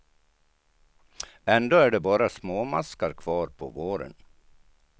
Ändå är det bara småmaskar kvar på våren.